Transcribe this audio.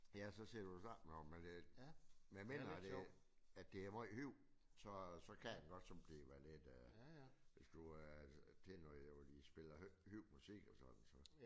Ja så sidder du og snakker med nogen medmindre at det at det er meget højt så så kan man godt sådan blive lidt hvis du er til noget hvor de spiller høj musik og sådan så